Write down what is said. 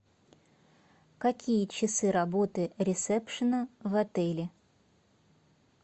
какие часы работы ресепшена в отеле